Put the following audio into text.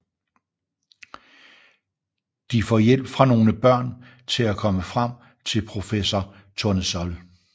De får hjælp fra nogle børn til at komme frem til professor Tournesol